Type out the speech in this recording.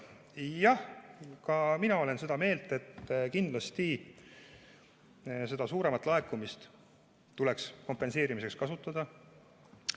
Jah, ka mina olen seda meelt, et seda suuremat laekumist tuleks kindlasti kompenseerimiseks kasutada.